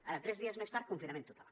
ara tres dies més tard confinament total